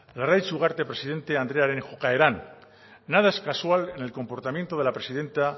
larraitz ugarte presidente andrearen jokaeran nada es casual en el comportamiento de la presidenta